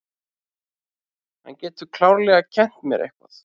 Hann getur klárlega kennt mér eitthvað.